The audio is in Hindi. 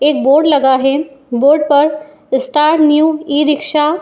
एक बोर्ड लगा है। बोर्ड पर इस्टार न्यू इ रिक्शा --